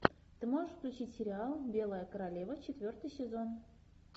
ты можешь включить сериал белая королева четвертый сезон